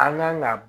An kan ka